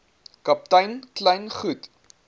kaptein kleyn goed